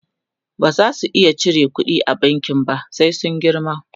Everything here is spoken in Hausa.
baza su iya cire ƙuɗi a bankin ba sai sun girma